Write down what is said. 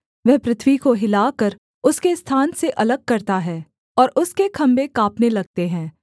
वह पृथ्वी को हिलाकर उसके स्थान से अलग करता है और उसके खम्भे काँपने लगते हैं